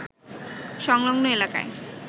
সংলগ্ন এলাকায়